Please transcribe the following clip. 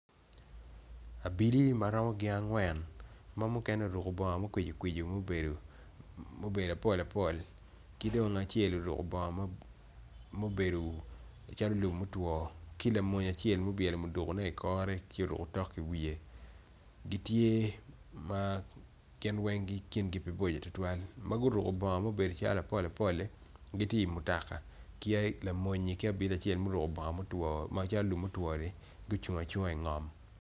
Abili maromo gin angwen ma mukene oruko bongo makwicikwici mabedo apol apol kidong mukene oruko bongo mubedo calo lum motwo ki lamwony acel ma obwelo muduki ne i kore ci oruko tok i wiye gitye ma ginweng kingi pe boco tutwal maguruko bongo mabedo calo apol apoli gitye i mutoka ki lamonyi ki abili acel ma oruko bongo macalo lum motwoni gucungo acunga i ngom.